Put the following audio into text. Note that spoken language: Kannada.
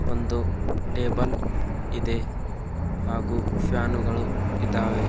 ಒಂದು ಟೇಬಲ್ ಇದೆ ಹಾಗು ಫ್ಯಾನುಗಳು ಇದಾವೆ.